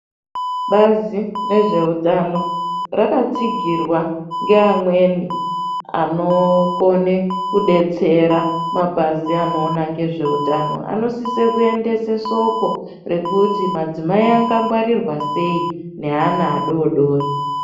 Bazi rezveutano rakatsigirwa ngeamweni anokone kudetsera mapazi anoona ngezveutano anosise kuendese soko rekuti madzimai angangwarirwa sei neana adodori.